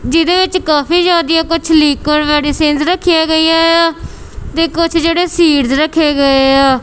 ਜਿਹਦੇ ਵਿੱਚ ਕਾਫੀ ਜਿਆਦਿਆ ਕੁੱਛ ਲੀਕਰ ਮੈਡੀਸਿਨਸ ਰੱਖਿਆਂ ਗਈਆਂ ਯਾਂ ਤੇ ਕੁੱਛ ਜੇਹੜੇ ਸੀਡਜ਼ ਰੱਖੇ ਗਏ ਯਾਂ।